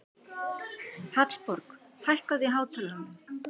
Hallborg, hækkaðu í hátalaranum.